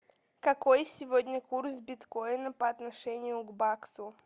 какой сегодня курс биткоина по отношению к баксу